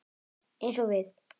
Eins við